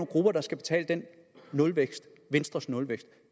grupper der skal betale den nulvækst venstres nulvækst